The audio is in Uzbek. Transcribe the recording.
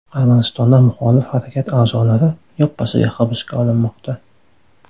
Armanistonda muxolif harakat a’zolari yoppasiga hibsga olinmoqda.